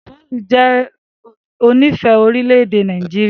Paul jẹ onífẹ̀ẹ́ orílẹ̀-èdè Nàìjíríà.